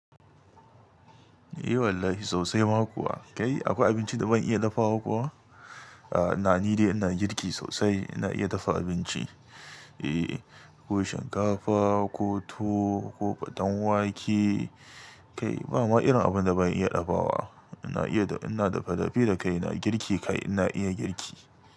Eh wallahi sosai ma kuwa. Kai akwai abinci da ban iya dafawa kuwa? A'a ina nidai ina girki sosai ina iya dafa abinci. Eh, ko shinkafa, ko tuwo, ko ɓaton wake kai ba ma irin abun da ban iya ɗabawa. Ina iya ina dafa dafi da kai ina girki kai ina iya girki.